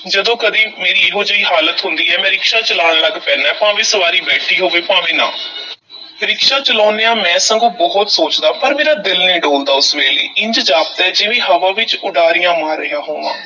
ਜਦੋਂ ਕਦੀ ਮੇਰੀ ਇਹੋ-ਜਿਹੀ ਹਾਲਤ ਹੁੰਦੀ ਐ, ਮੈਂ ਰਿਕਸ਼ਾ ਚਲਾਣ ਲੱਗ ਪੈਨਾਂ ਹੈ, ਭਾਵੇਂ ਸਵਾਰੀ ਬੈਠੀ ਹੋਵੇ, ਭਾਵੇਂ ਨਾ ਰਿਕਸ਼ਾ ਚਲਾਂਦਿਆਂ ਮੈਂ ਸਗੋਂ ਬਹੁਤ ਸੋਚਦਾਂ, ਪਰ ਮੇਰਾ ਦਿਲ ਨਹੀਂ ਡੋਲਦਾ ਉਸ ਵੇਲੇ, ਇੰਜ ਜਾਪਦਾ ਹੈ ਜਿਵੇਂ ਹਵਾ ਵਿੱਚ ਉਡਾਰੀਆਂ ਮਾਰ ਰਿਹਾ ਹੋਵਾਂ।